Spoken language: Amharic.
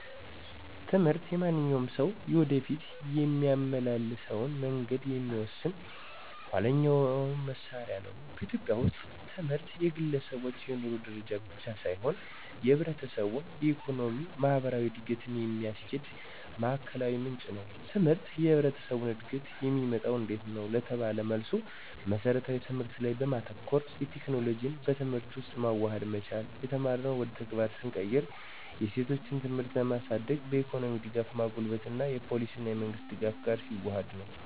ትምህርት የማንኛውም ሰው የወደፊት የሚያመላልሰውን መንገድ የሚወስን ኋይለኛ መሳሪያ ነው። በኢትዮጵያ ውስጥ ትምህርት የግለሰቦች የኑሮ ደረጃ ብቻ ሳይሆን የህብረተሰቡን የኢኮኖሚ፣ ማህበራዊ እድገት የሚያስኪድ ማዕከላዊ ምንጭ ነው። ትምህርት የህብረተሰቡን እድገት የሚመጣው እንዴት ነው? ለተባለው መልስ መስረታዊ ትምህርት ላይ በማተኮር፣ የቴክኖሎጂን በትምህርት ውስጥ ማዋሃድ መቻል፣ የተማርነውን ወደ ተግባር ስንቀይርው፣ የሴቶችን ትምህርት ለማሳድግ፣ በኢኮኖሚ ደጋፍን ማጎልበት እና የፓሊሲ እና የመንግሥት ደጋፍ ጋር ሲዋሀድ ነው።